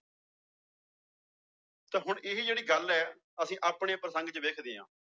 ਤਾਂਂ ਹੁਣ ਇਹ ਵੀ ਜਿਹੜੀ ਗੱਲ ਹੈ ਅਸੀਂ ਆਪਣੇ ਪ੍ਰਸੰਗ ਚ ਵੇਖਦੇ ਹਾਂ